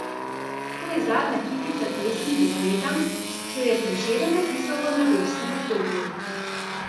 To je zadnja kitica pesmi Dekletam, ki jo je Prešeren napisal v mladostnem obdobju.